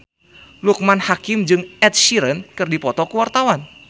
Loekman Hakim jeung Ed Sheeran keur dipoto ku wartawan